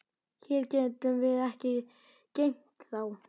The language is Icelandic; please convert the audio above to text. Hér getum við ekki geymt þá.